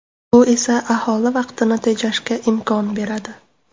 Bu esa aholi vaqtini tejashga imkon beradi.